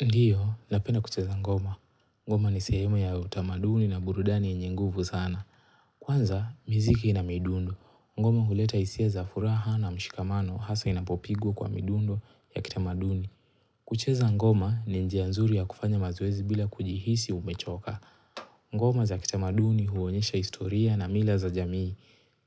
Ndiyo, napenda kucheza ngoma. Ngoma ni sehemu ya utamaduni na burudani yenye nguvu sana. Kwanza, miziki na midundo. Ngoma huleta hisia za furaha na mshikamano hasa inapopigwa kwa midundo ya kitamaduni. Kucheza ngoma ni njia nzuri ya kufanya mazoezi bila kujihisi umechoka. Ngoma za kitamaduni huonyesha historia na mila za jamii